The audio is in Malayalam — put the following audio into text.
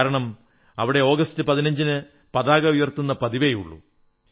കാരണം അവിടെ ആഗസ്റ്റ് 15 ന് പതാക ഉയർത്തുന്ന പതിവേയുള്ളൂ